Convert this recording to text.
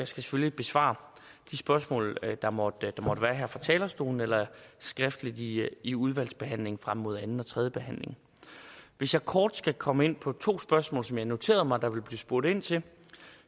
selvfølgelig besvare de spørgsmål der måtte være her fra talerstolen eller skriftligt i i udvalgsbehandlingen frem mod anden og tredje behandling hvis jeg kort skal komme ind på to spørgsmål som jeg noterede mig der blev spurgt ind til